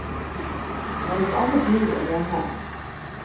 Det er et annet liv enn hjemme.